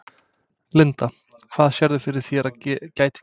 Linda: Hvað sérðu fyrir þér að gæti gerst?